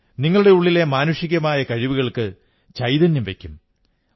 നിങ്ങളുടെ ഉള്ളിലെ മാനുഷികമായ കഴിവുകൾക്ക് ചൈതന്യം വയ്ക്കും